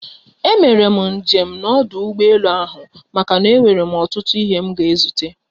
E mere njem na ọdụ ụgbọ elu ahụ maka na-enwere m otutu ihe m ga ezute